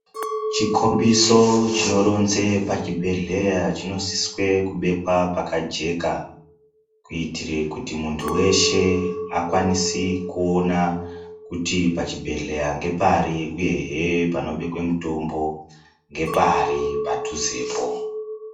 Chikombiso chinoronze pachibhedhleya chinosiswe kubekwa pakajeka kuitire kuti muntu weshe akwanise kuona kuti pachibhedhlera ngepari uyehe panobekwe mutombo ngepari padhuzepo.